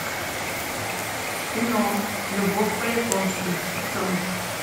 кино любовь по японски открой